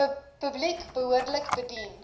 publiek behoorlik bedien